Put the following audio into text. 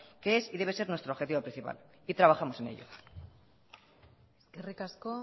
que es y debe ser nuestro objetivo principal y trabajamos en ello eskerrik asko